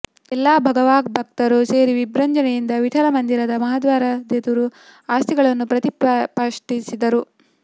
ಎಲ್ಲ ಭಗವದ್ಭಕ್ತರು ಸೇರಿ ವಿಜೃಂಭಣೆಯಿಂದ ವಿಠ್ಠಲ ಮಂದಿರದ ಮಹಾದ್ವಾರದೆದುರು ಅಸ್ತಿಗಳನ್ನು ಪ್ರತಿ ಷ್ಠಾಪಿಸಿದರು